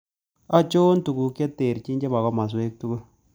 Achon tugukb che terchin che po komoswek tugul